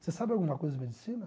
Você sabe alguma coisa de medicina?